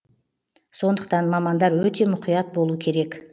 сондықтан мамандар өте мұқият болу керек